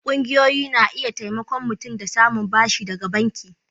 ƙungiyoyi na iya taimaka mutum da samun bashi daga banki.